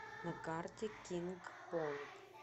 на карте кинг понг